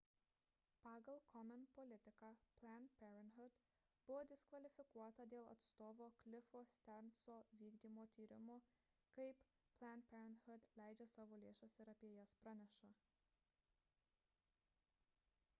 pagal komen politiką planned parenthood buvo diskvalifikuota dėl atstovo cliffo stearnso vykdomo tyrimo kaip planned parenthood leidžia savo lėšas ir apie jas praneša